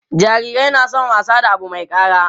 jarirai na San wasa da Abu Mai kara